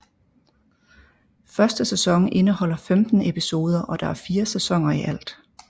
Første sæson indeholder 15 episoder og der er fire sæsoner i alt